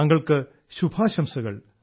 താങ്കൾക്ക് ശുഭാശംസകൾ